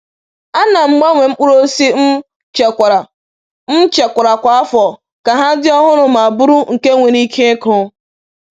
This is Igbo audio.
A na m gbanwee mkpụrụ osisi m echekwara m echekwara kwa afọ ka ha dị ọhụrụ ma bụrụ nke nwere ike ịkụ.